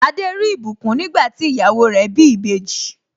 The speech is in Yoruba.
Adé rí ìbùkún nígbà tí ìyàwó rẹ̀ bí ìbejì.